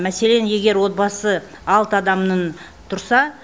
мәселен егер отбасы алты адамнын тұрса